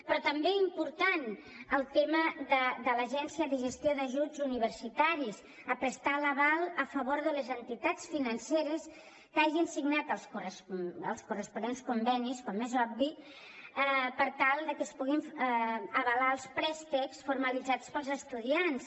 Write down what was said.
però també important el tema de l’agència de gestió d’ajuts universitaris a prestar l’aval a favor de les entitats financeres que hagin signat els corresponents convenis com és obvi per tal de que es puguin avalar els préstecs formalitzats pels estudiants